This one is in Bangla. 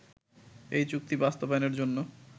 এই চুক্তি বাস্তবায়নের জন্য